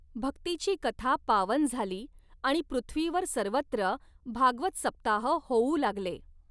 भक्तीची कथा पावन झाली आणि पृथ्वीवर सर्वत्र भागवतसप्ताह होऊ लागले.